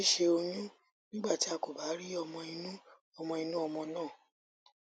sise oyún nígbà tí a kò bá rí ọmọ inú ọmọ inú ọmọ náà